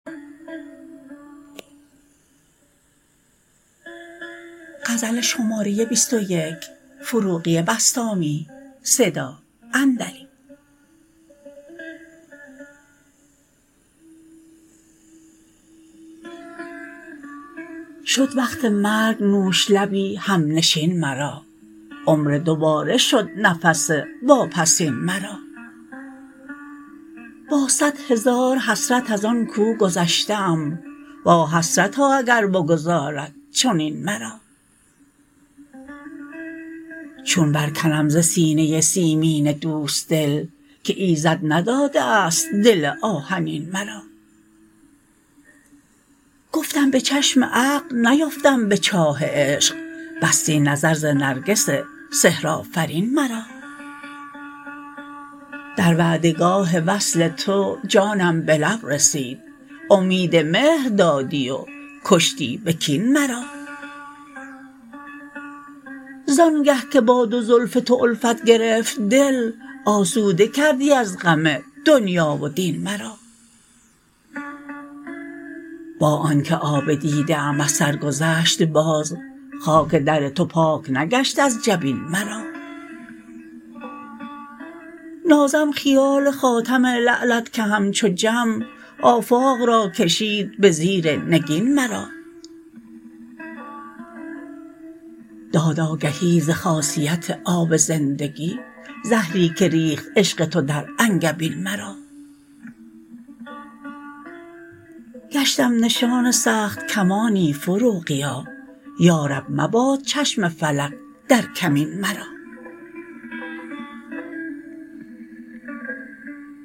شد وقت مرگ نوش لبی هم نشین مرا عمر دوباره شد نفس واپسین مرا با صد هزار حسرت از آن کو گذشته ام وا حسرتا اگر بگذارد چنین مرا چون برکنم ز سینه سیمین دوست دل که ایزد نداده است دل آهنین مرا گفتم به چشم عقل نیفتم به چاه عشق بستی نظر ز نرگس سحر آفرین مرا در وعده گاه وصل تو جانم به لب رسید امید مهر دادی و کشتی به کین مرا زان گه که با دو زلف تو الفت گرفت دل آسوده کردی از غم دنیا و دین مرا با آن که آب دیده ام از سر گذشت باز خاک در تو پاک نگشت از جبین مرا نازم خیال خاتم لعلت که همچو جم آفاق را کشید به زیر نگین مرا داد آگهی ز خاصیت آب زندگی زهری که ریخت عشق تو در انگبین مرا گشتم نشان سخت کمانی فروغیا یا رب مباد چشم فلک در کمین مرا